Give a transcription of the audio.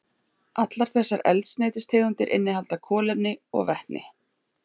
Allar þessar eldsneytistegundir innihalda kolefni og vetni.